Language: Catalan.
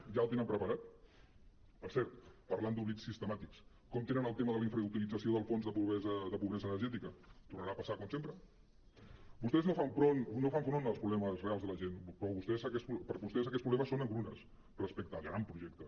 ja el tenen preparat per cert parlant d’oblits sistemàtics com tenen el tema de la infrautilització del fons de po·bresa energètica tornarà a passar com sempre vostès no fan front als problemes reals de la gent per vostès aquests problemes són engrunes respecte al gran projecte